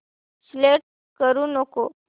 select करू नको